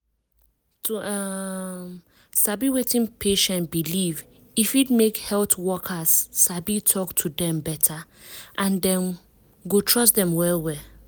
to um sabi wetin patient believe e fit make health workers sabi talk to dem beta and dem go trust dem well well.